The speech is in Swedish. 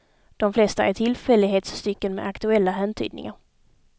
De flesta är tillfällighetsstycken med aktuella häntydningar.